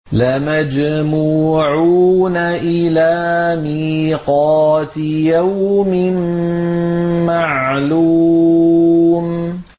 لَمَجْمُوعُونَ إِلَىٰ مِيقَاتِ يَوْمٍ مَّعْلُومٍ